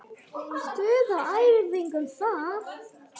Stuð á æfingum þar!